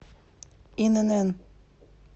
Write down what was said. инн